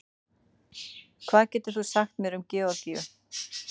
hvað getur þú sagt mér um georgíu